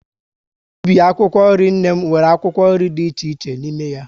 Ubi akwụkwọ nri nne m, nwere akwụkwọ nri dị iche iche n'ime ya